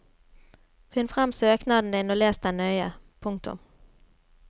Finn frem søknaden din og les den nøye. punktum